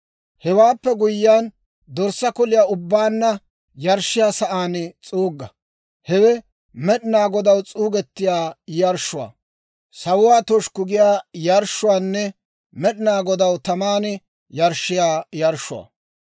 hewaappe guyyiyaan, dorssaa koliyaa ubbaanna yarshshiyaa sa'aan s'uugga; hewe Med'inaa Godaw s'uugettiyaa yarshshuwaa, sawuwaa toshikku giyaa yarshshuwaanne Med'inaa Godaw taman yarshshiyaa yarshshuwaa.